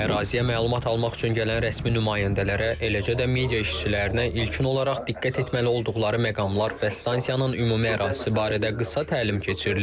Əraziyə məlumat almaq üçün gələn rəsmi nümayəndələrə, eləcə də media işçilərinə ilkin olaraq diqqət etməli olduqları məqamlar və stansiyanın ümumi ərazisi barədə qısa təlim keçirilir.